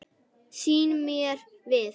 Sný mér við.